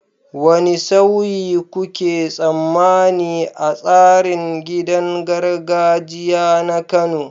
Wane sauyi kuke tsammani a tsarin gidan gargajiya na Kano?